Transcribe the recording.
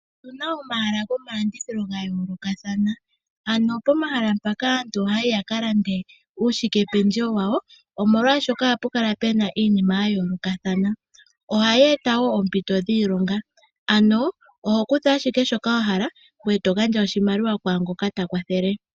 Otuna omahala gomalandidhilo ga yoolokathana, pomahala mpaka aantu ohaya yi yaka lande uushikependjewo omolwaashoka ohapu kala puna iinima ya yoolokathana. Ohaya eta wo oopinto dhiilonga. Oho kutha ashike shoka wa hala ngoye to gandja oshimaliwa kwaangoka ta kwathele.